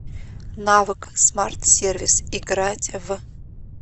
навык смарт сервис играть в